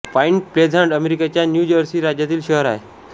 point Pleasant अमेरिकेच्या New Jersey राज्यातील शहर आहे